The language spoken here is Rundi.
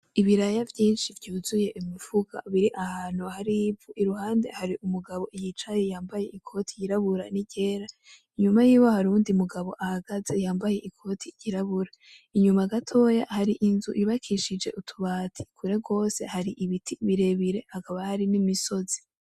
Ibiraya vyinshi vyuzuye imifuko biri ahantu hari ivu, iruhande hari umugabo yicaye yambaye ikote yirabura n'iryera, inyuma yiwe hari uyundi mugabo ahagaze yambaye ikoti ry'irabura, inyuma gatoyi hari inzu yubakishije utubati, kure gose hari ibiti birebire hakaba hari n'imisozi.